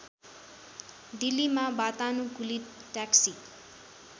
दिल्लीमा वातानुकूलित ट्याक्सी